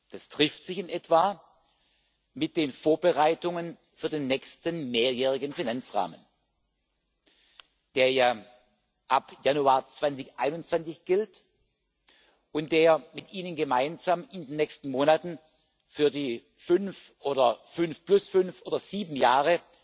Das trifft sich in etwa mit den Vorbereitungen für den nächsten mehrjährigen Finanzrahmen, der ja ab Januar 2021 gilt und der mit Ihnen gemeinsam in den nächsten Monaten für die fünf oder fünf plus fünf oder sieben Jahre